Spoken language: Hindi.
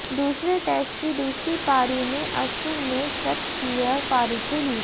दूसरे टेस्ट की दूसरी पारी में अश्विन ने शतकीय पारी खेली